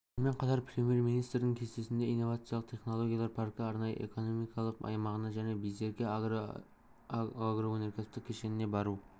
сонымен қатар премьер-министрдің кестесінде инновациялық технологиялар паркі арнайы экономикалық аймағына және байсерке агро агроөнеркәсіптік кешеніне бару